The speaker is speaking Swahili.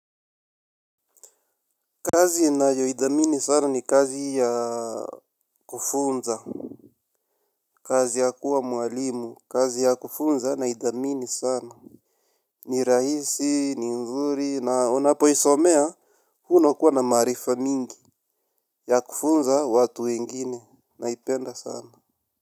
Kazi ninayoidhamini sana ni kazi ya kufunza. Kazi ya kuwa mwalimu. Kazi ya kufunza naidhamini sana. Ni rahisi, ni nzuri. Na unapoisomea. Hua unakuwa na maarifa mingi. Ya kufunza watu wengine. Naipenda sana.